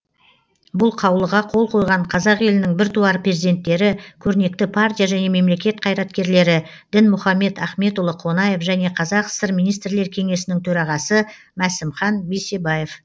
бұл қаулыға қол қойған қазақ елінің біртуар перзенттері көрнекті партия және мемлекет қайраткерлері дінмұхамет ахметұлы қонаев және қазақ сср министрлер кеңесінің төрағасы масімхан бейсебаев